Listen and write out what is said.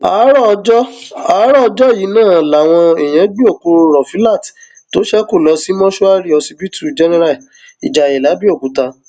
àárọ ọjọ àárọ ọjọ yìí náà làwọn èèyàn gbé òkú rọfílát tó ṣekú lọ sí mọṣúárì ọsibítù general ìjayé làbẹọkúta